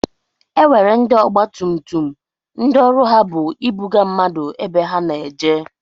E nwere ndị ọgba tum tum ndị ọrụ ha bu ịbụga mmadụ ebe ha na-eje.